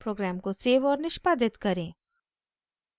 programme को save और निष्पादित करें